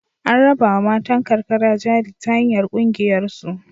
An rabawa matan karkara jari ta hanyar ƙungiyarsu.